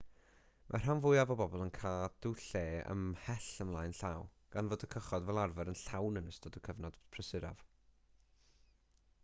mae'r rhan fwyaf o bobl yn cadw lle ymhell ymlaen llaw gan fod y cychod fel arfer yn llawn yn ystod y cyfnod prysuraf